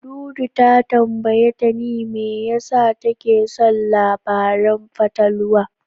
Dudu ta tambayi Tani me yasa take son labaran fatalwa.